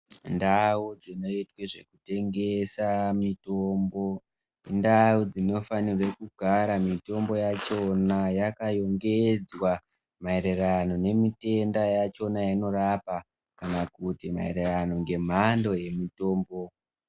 Ndau dzinoitwe zvekutengesa mitombo indau dzinofanirwe kugara mitombo yachona yakayongedzwa maererano nemitenda yachona yainorapa kana kuti maererano ngemhando yemutombo.